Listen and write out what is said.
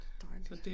Det dejligt